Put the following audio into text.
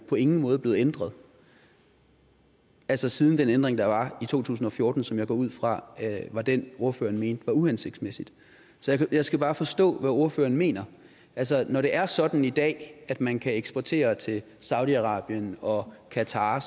på ingen måde blevet ændret altså siden den ændring der var i to tusind og fjorten som jeg går ud fra var den ordføreren mente var uhensigtsmæssig så jeg skal bare forstå hvad ordføreren mener altså når det er sådan i dag at man kan eksportere til saudi arabien og qatar